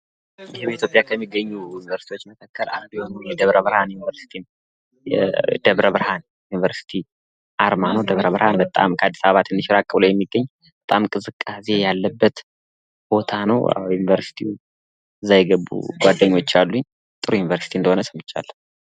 ይህ ኢትዮጵያ ከሚገኙ ዩንቨርስቲዎች መካከል የደብረብርሃን ዩንቨርስቲ ነው። የደብረብርሃን ዩንቨርስቲ አርማ ነው ። ደብረብርሃን ዩኒቨርሲቲ ከአዲስ አበባ ትንሽ ራቅ ብሎ የሚገኝ ቦታ ነው ፤ በጣም ከዝቃዛ ቦታ ነው።